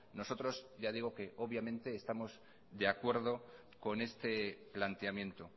nosotros ya digo que obviamente estamos de acuerdo con este planteamiento